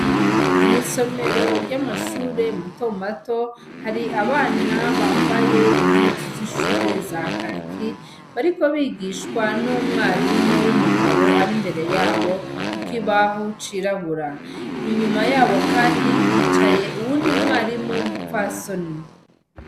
Mw'isomero ry'amashure matomato hari abana bambaye impuzu z'ishure za kaki bariko bigishwa n'umwarimu w'umugabo ari imbere yabo, kuko ibahu ciragura inyuma yabo, kandi hicaye uwundi mwarimu w'umupfasoni.